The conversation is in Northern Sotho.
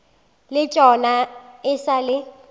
le tšona e sa le